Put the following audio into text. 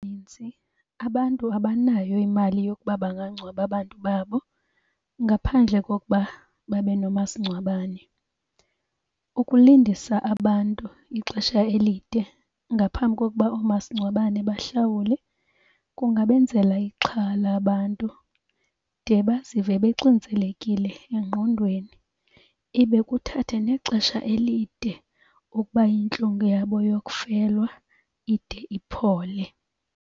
abantu abanayo imali yokuba bangangcwaba abantu babo ngaphandle kokuba babe nomasingcwabane. Ukulindisa abantu ixesha elide ngaphambi kokuba oomasingcwabane bahlawule, kungabenzela ixhala abantu de bazive bexinzelekile engqondweni. Ibe kuthathe nexesha elide okuba intlungu yabo yokufelwa ide iphole.